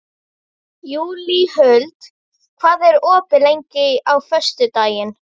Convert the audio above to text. Júlíhuld, hvað er opið lengi á föstudaginn?